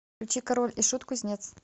включи король и шут кузнец